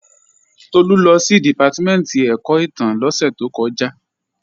Tolú lọ sí Dìpátímẹ̀ntì ẹ̀kọ́ ìtàn lósẹ̀ tó kọjá